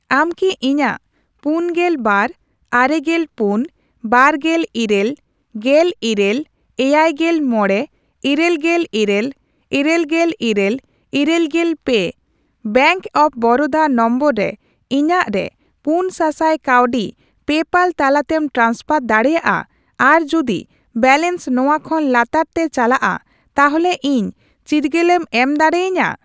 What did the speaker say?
ᱟᱢ ᱠᱤ ᱤᱧᱟᱜ ᱯᱩᱱᱜᱮᱞ ᱵᱟᱨ, ᱟᱨᱮᱜᱮᱞ ᱯᱩᱱ, ᱵᱟᱨᱜᱮᱞ ᱤᱨᱟᱹᱞ, ᱜᱮᱞ ᱤᱨᱟᱹᱞ, ᱮᱭᱟᱭᱜᱮᱞ ᱢᱚᱲᱮ, ᱤᱨᱟᱹᱞᱜᱮᱞ ᱤᱨᱟᱹᱞ, ᱤᱨᱟᱹᱞᱜᱮᱞ ᱤᱨᱟᱹᱞ, ᱤᱨᱟᱹᱞᱜᱮᱞ ᱯᱮ ᱵᱮᱝᱠ ᱚᱯᱷ ᱵᱚᱨᱚᱫᱟ ᱱᱚᱢᱵᱚᱨ ᱨᱮ ᱤᱧᱟᱜᱨᱮ ᱯᱩᱱ ᱥᱟᱥᱟᱭ ᱠᱟᱹᱣᱰᱤ ᱯᱮᱯᱟᱞ ᱛᱟᱞᱟᱛᱮᱢ ᱴᱨᱟᱱᱥᱯᱷᱟᱨ ᱫᱟᱲᱮᱭᱟᱜᱼᱟ ᱟᱨ ᱡᱩᱫᱤ ᱵᱮᱞᱮᱱᱥ ᱱᱚᱣᱟ ᱠᱷᱚᱱ ᱞᱟᱛᱟᱨ ᱛᱮ ᱪᱟᱞᱟᱜᱼᱟ ᱛᱟᱦᱚᱞᱮ ᱤᱧ ᱪᱤᱨᱜᱟᱹᱞᱮᱢ ᱮᱢ ᱫᱟᱲᱮᱭᱟᱹᱧᱟ ?